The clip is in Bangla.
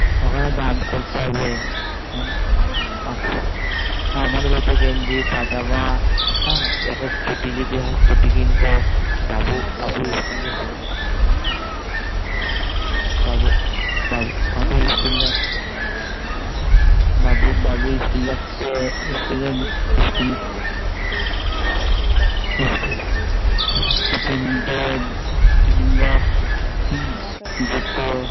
বাবু School যাচ্ছে হ্যাঁ School ভর্তি করতে হবে হ্যাঁ তখন ওর সব কিছু কিনতে হবে Tifin Box Water Bottle জুতো